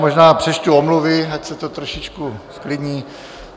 Možná přečtu omluvy, ať se to trošku zklidní.